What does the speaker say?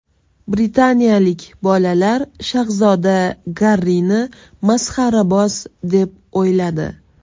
Britaniyalik bolalar shahzoda Garrini masxaraboz deb o‘yladi.